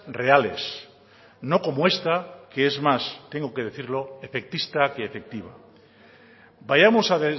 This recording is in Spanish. reales no como esta que es más tengo que decirlo efectista que efectiva vayamos a